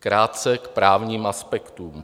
Krátce k právním aspektům.